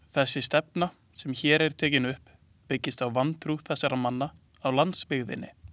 Þessi stefna, sem hér er tekin upp, byggist á vantrú þessara manna á landsbyggðinni.